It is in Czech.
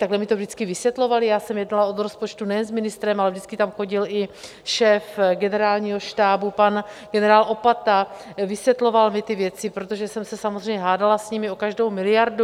Takhle mi to vždycky vysvětlovali, já jsem jednala o rozpočtu nejen s ministrem, ale vždycky tam chodil i šéf Generálního štábu pan generál Opata, vysvětloval mi ty věci, protože jsem se samozřejmě hádala s nimi o každou miliardu.